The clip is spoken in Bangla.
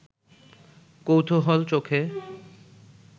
কৌতূহল চোখে